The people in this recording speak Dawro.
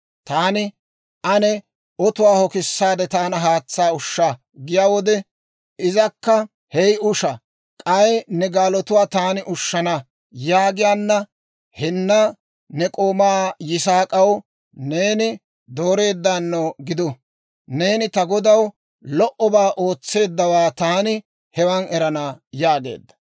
Taani, ‹Ane otuwaa hokisaadde taana haatsaa ushsha› giyaa wode, izakka, ‹Hey usha; k'ay ne gaaluwaa taani ushshana› yaagiyaanna, henna ne k'oomaa Yisaak'aw neeni dooreeddaano gidu; neeni ta godaw lo"obaa ootseeddawaa taani hewaan erana» yaageedda.